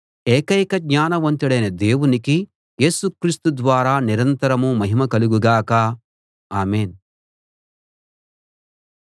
ఏకైక జ్ఞానవంతుడైన దేవునికి యేసు క్రీస్తు ద్వారా నిరంతరం మహిమ కలుగు గాక ఆమేన్‌